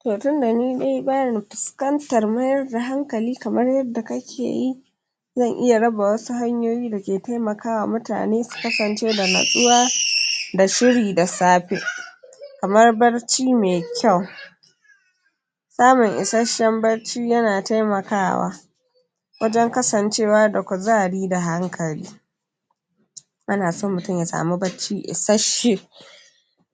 to tunda ni dai bani fuskantar mayar da hankali kamar yadda kake yi zan iya raba wasu hanyoyi da ke temakawa mutane su kasance da natsuwa da shiri da safe kamar barci me kyau samun isashshen barci yana temakawa wajen kasancewa da kuzari da hankali ana so mutum ya samu barci isashshe